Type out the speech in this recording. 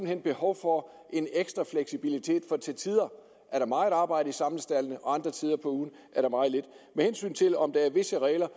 hen behov for en ekstra fleksibilitet for til tider er der meget arbejde i samlestaldene og andre tider på ugen er der meget lidt med hensyn til om der er visse regler